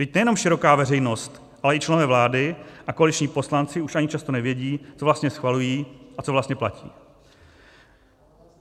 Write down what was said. Vždyť nejenom široká veřejnost, ale i členové vlády a koaliční poslanci už ani často nevědí, co vlastně schvalují a co vlastně platí.